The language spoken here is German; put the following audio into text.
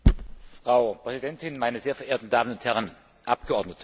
Frau Präsidentin, meine sehr verehrten Damen und Herren Abgeordnete!